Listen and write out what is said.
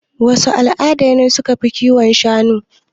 Wasu al'ada ne suka fi kiwon shanu?